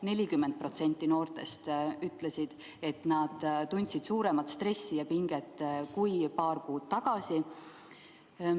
40% noortest ütles, et nad tundsid suuremat stressi ja pinget kui paar kuud tagasi.